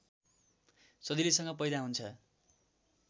सजिलैसँग पैदा हुन्छ